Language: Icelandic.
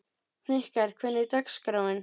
Hnikarr, hvernig er dagskráin?